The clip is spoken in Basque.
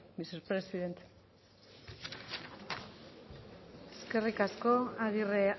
mr president eskerrik asko agirre